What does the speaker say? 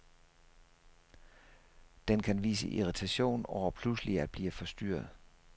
Den kan vise irritation over pludselig at blive forstyrret.